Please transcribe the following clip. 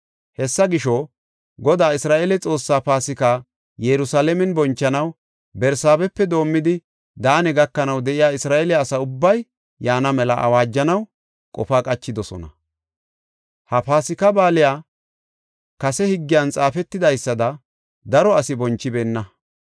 Hessa gisho, Godaa Isra7eele Xoossaa Paasika Yerusalaamen bonchanaw Barsaabepe doomidi Daane gakanaw de7iya Isra7eele asa ubbay yaana mela awaajanaw qofa qachidosona. Ha Paasika Baaliya kase higgiyan xaafetidaysada daro asi bonchibeenna.